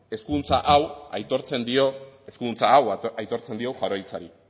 eskuduntza hau aitortzen dio jaurlaritzari